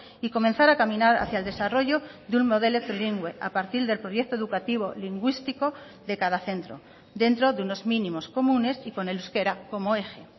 y comenzar a caminar hacia el desarrollo de un modelo trilingüe a partir del proyecto educativo lingüístico de cada centro dentro de unos mínimos comunes y con el euskera como eje